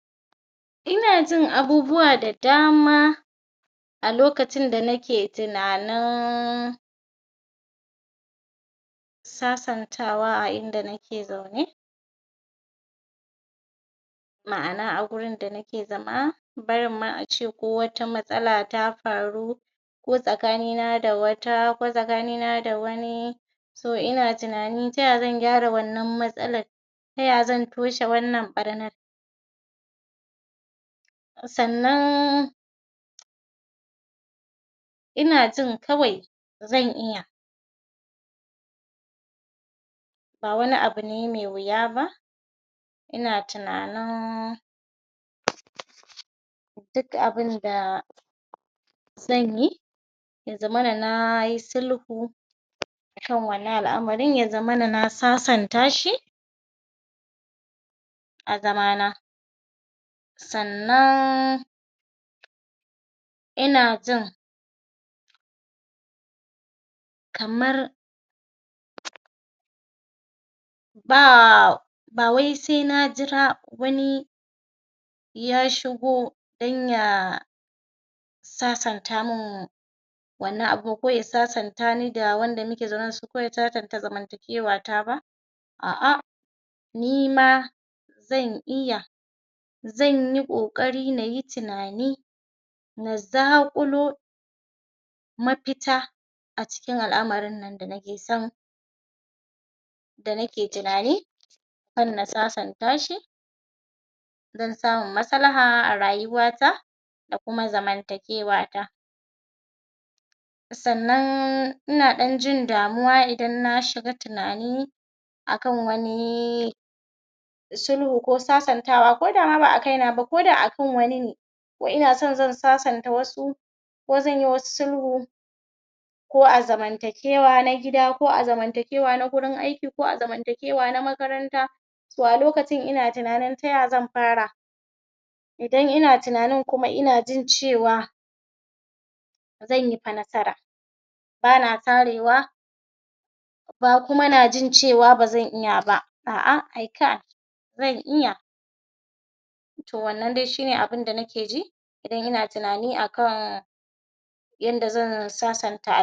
Akwai wato hanya dabandaban da makiyaya ke anfani da su wajen su ga sun maguŋguna su dabbobin da suke anfani da su, wanda suka haɗa da misali: akan iya saka ƙarfe a wuta idan dabba ta sami wani ciwo ko ta yanku, to a kan iya saka ƙarfe a wutan ya yi zafi sosai, se a fito da shi, se a ƙona wannan wurin ciwon ɗin an ƙona shi ze ba su lafiya da ake sa rai suka ji, suka ji wannan ƙuna-ɗin, a yayin ze yi saurin warƙewa, ya dawo lafiyan su ƙalau. Bayan haka kuma akwai wasu irin ganyayyaki da ake cirowa a haɗa masu dabbobin a ba su, su kuma dabbobin idan sun ci ze musu magani, kamar misalin irin su alobera, ganyan alobera da ake yankowa, wasu ganyayaki da ake yankowa koda a ce dabbobin kaman suna zawo, cikin su ya lallace, za a musu anfani da irin nau'ika na abinci a nan yanki, a ba su, in an ba su, duk wani samu lafiya shi kuma iya irin abinda ya shafi tsutsan ciki, akan iya ciro wa dabbobin, a ciro masu ƙwan kaza, ko kaji se a haɗa masu da ruwan ƙwakwa, se a ba su duk waɗannan hanyoyi ne na magancewa ko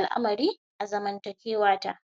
a wanke masu tsutsan ciki.